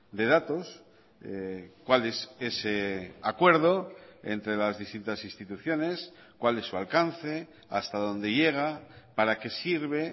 de datos cuál es ese acuerdo entre las distintas instituciones cuál es su alcance hasta dónde llega para qué sirve